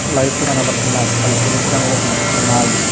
లైట్లు కనపడుతున్నాయి అవి తెలుపు రంగులో కనిపిస్తున్నాయి.